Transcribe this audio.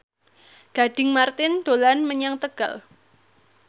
Gading Marten dolan menyang Tegal